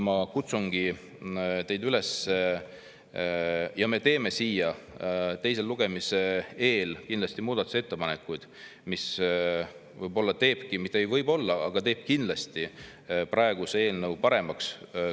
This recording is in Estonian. Me teeme siia teise lugemise eel kindlasti muudatusettepanekuid, mis teevad praeguse eelnõu paremaks.